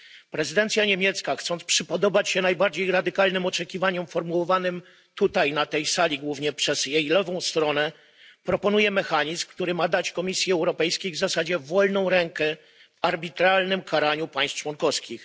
Prezydencja niemiecka, chcąc przypodobać się najbardziej radykalnym oczekiwaniom formułowanym tutaj, na tej sali, głównie przez jej lewą stronę, proponuje mechanizm, który ma dać Komisji Europejskiej w zasadzie wolną rękę w arbitralnym karaniu państw członkowskich.